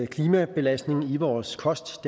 klimabelastning i vores kost